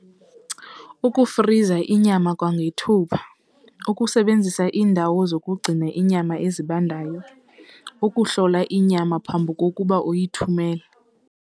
Ukufriza inyama kwangethuba, ukusebenzisa iindawo zokugcina inyama ezibandayo ukuhlola inyama phambi kokuba uyithumele.